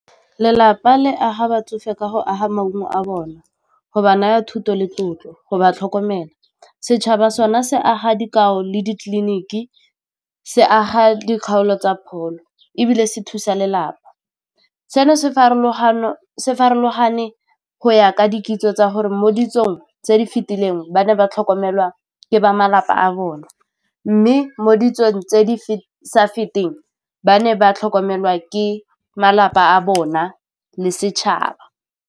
Lelapa le aga batsofe ka go aga maungo a bona go ba naya thuto le tlotlo, go ba tlhokomela, setšhaba sona se aga dikago le ditleliniki se aga dikgaolo tsa pholo ebile se thusa lelapa, se farologane go ya ka di kitso tsa gore mo ditsong tse di fetileng ba ne ba tlhokomelwa ke ba malapa a bona mme mo ditsong tse di sa feteng ba ne ba tlhokomelwa ke malapa a bona le setšhaba.